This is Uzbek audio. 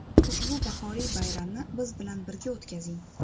Ushbu bahoriy bayramni biz bilan birga o‘tkazing.